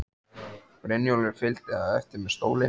Brynjólfur fylgdi á eftir með stólinn.